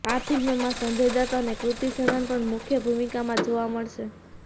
આ ફિલ્મમાં સંજય દત્ત અને કૃતિ સેનન પણ મુખ્ય ભૂમિકામાં જોવા મળશે